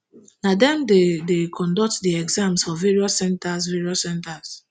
na dem dey dey conduct di exams for various centres various centres